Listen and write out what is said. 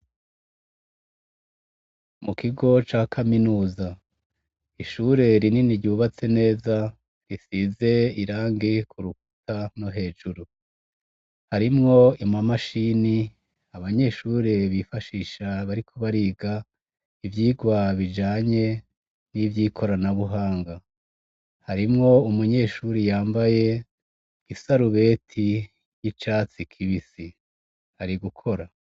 Mukigo cakaminuza ishure rinini ryubatse neza risize irangi kurukuta nohejuru harimwo amamashini abanyeshure bifashisha bariko bariga ivyirwa bijanye nivyikorana buhanga harimwo umunyeshure yambaye isarubeti yicatsi kibisi ari gukora